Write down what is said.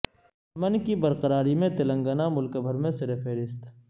امن کی برقراری میں تلنگانہ ملک بھر میں سرفہرست